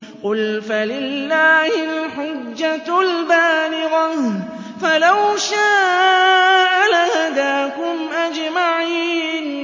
قُلْ فَلِلَّهِ الْحُجَّةُ الْبَالِغَةُ ۖ فَلَوْ شَاءَ لَهَدَاكُمْ أَجْمَعِينَ